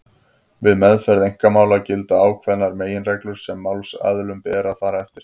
Við meðferð einkamála gilda ákveðnar meginreglur sem málsaðilum ber að fara eftir.